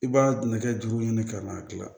I b'a nɛgɛ juru ɲini ka n'a dilan